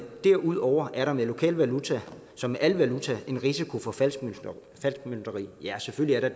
derudover er der med lokal valuta som med al valuta en risiko for falskmøntneri ja selvfølgelig er